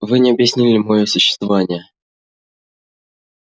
вы не объяснили моего существования